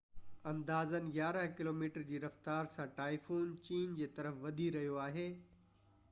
اندازن يارانهن ڪلوميٽر جي رفتار سان ٽائفون چين جي طرف وڌي رهيو آهي